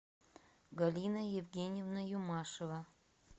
галина евгеньевна юмашева